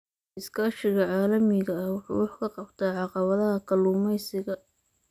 Iskaashiga caalamiga ah wuxuu wax ka qabtaa caqabadaha kalluumeysiga.